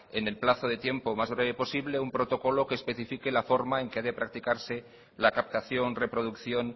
en el plazo de tiempo más breve posible un protocolo que especifique la forma en que ha de practicarse la captación reproducción